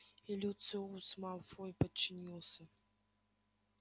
и люциус малфой подчинился